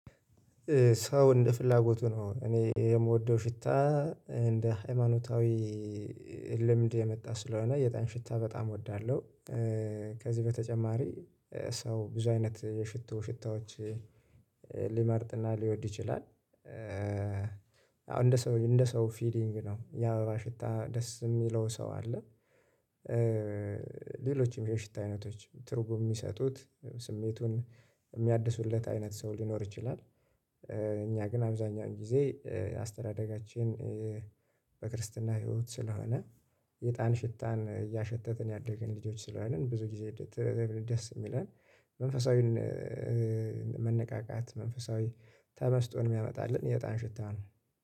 ሰው እንደ ፍላጎቱ ነው እኔ የምወደው ሽታ እንደ ሃይማኖታዊ ልምድ የመጣ ስለሆነ የጣን ሽታ በጣም እወዳለሁ። ከዚህ በተጨማሪ ሰው ብዙ አይነት የሽቶ ሽታዎች ሊመርጥና ሊወድ ይችላል። አሁን እንደ ሰው እንደ ሰው ፊሊንግ ነው የአበባ ሽታ ደስ የሚለው ሰው አለ። ሌሎችም የሽታ አይነቶች ትርጉም የሚሰጡት ስሜቱን የሚያድሱለት አይነት ሰው ሊኖር ይችላል። እኛ ግን አብዛኛውን ጊዜ አስተዳደጋችን በክርስትና ህይወት ስለሆነ የእጣን ሽታን እያሸተትን እያደገውን ልጆች ስለሆንን ብዙ ጊዜ ደስ ይለናል። መንፈሳዊን መነቃቃት መንፈሳዊ ተመስጦን የሚያመጣልን የእጣን ሽታ ነው።